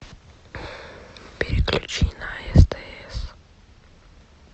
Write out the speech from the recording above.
переключи на стс